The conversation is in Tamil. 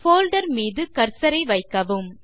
போல்டர் மீது கர்சர் ஐ வைக்கவும்